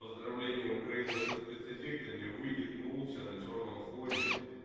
поздравление украина со спецэффектами выйдет молча на чёрном фоне